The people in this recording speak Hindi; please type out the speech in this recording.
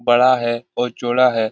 बड़ा है और चौड़ा है ।